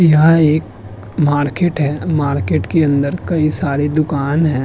यह एक मार्केट है। मार्केट के अंदर कई सारी दुकान हैं।